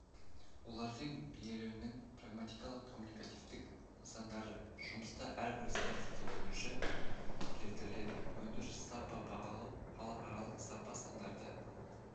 олардың бейнеленуінің прагматикалық-коммуникативтік нысандары жұмыста әрбір стратегия бойынша келтіріледі өндіріс сапа бағалау халықаралық сапа стандарты